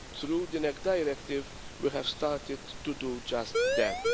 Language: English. Through the NEC Directive we have started to do just that.